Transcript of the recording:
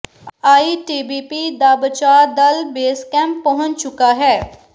ITBP ਦਾ ਬਚਾਅ ਦਲ ਬੇਸ ਕੈਂਪ ਪਹੁੰਚ ਚੁੱਕਾ ਹੈ